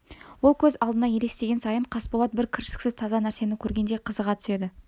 ол көз алдына елестеген сайын қасболат бір кіршіксіз таза нәрсені көргендей қызыға түседі